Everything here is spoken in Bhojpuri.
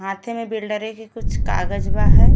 हाथें में बिल्डरें के कुछ कागज़ बा है।